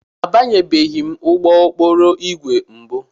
Abanyebeghị m n'ụgbọ okporo ígwè mbụ.